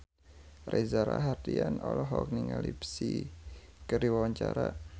Reza Rahardian olohok ningali Psy keur diwawancara